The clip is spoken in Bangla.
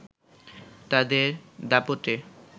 তাদের দাপটে